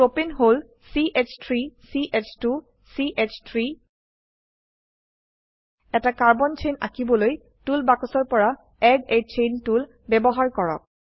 প্ৰপাণে হল ch3 ch2 চ3 এটা কাৰ্বন চেইন আঁকিবলৈ টুল বাক্সৰপৰা এড a চেইন টুল ব্যবহাৰ কৰক